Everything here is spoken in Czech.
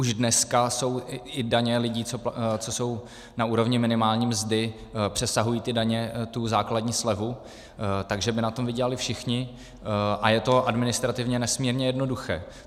Už dneska jsou i daně lidí, co jsou na úrovni minimální mzdy, přesahují ty daně tu základní slevu, takže by na tom vydělali všichni a je to administrativně nesmírně jednoduché.